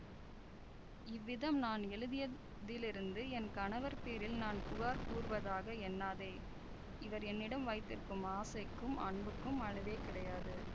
இவ்விதம் நான் எழுதியதிலிருந்து என் கணவர் பேரில் நான் புகார் கூறுவதாக எண்ணாதே இவர் என்னிடம் வைத்திருக்கும் ஆசைக்கும் அன்புக்கும் அளவே கிடையாது